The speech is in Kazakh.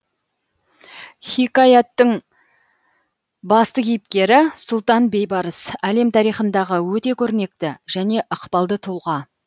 хикаятың басты кейіпкері сұлтан бейбарыс әлем тарихындағы өте көрнекті және ықпалды тұлға